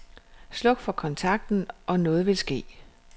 Sluk for kontakten og noget vil ske.